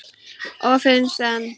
Og finnst enn.